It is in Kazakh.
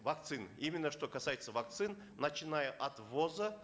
вакцины именно что касается вакцин начиная от ввоза